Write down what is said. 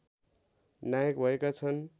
नायक भएका छन्